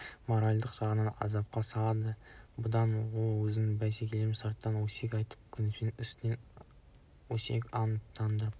моральдық жағынан азапқа салады бұдан ол өз бәсекелесінің сыртынан өсек айтып кемсітіп үстінен әртүрлі өсек-аяң таратып